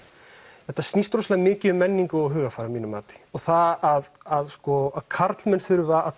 þetta snýst rosalega mikið um menningu og hugarfar að mínu mati að að karlmenn þurfi að